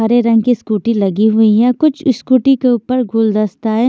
हरे रंग की स्कूटी लगी हुई है कुछ स्कूटी के ऊपर गुलदस्ता है।